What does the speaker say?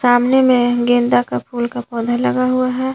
सामने मैं गेंदा का फूल का पौधा लगा हुआ है।